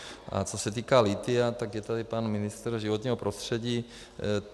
A co se týká lithia, tak je tady pan ministr životního prostředí.